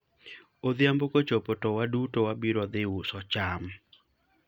odhiambo kochopo to waduto wabiro dhi uso cham